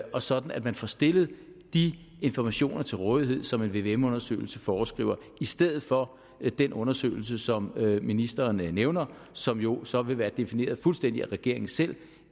og sådan at man får stillet de informationer til rådighed som en vvm undersøgelse foreskriver i stedet for den undersøgelse som ministeren nævner og som jo så vil være defineret fuldstændig af regeringen selv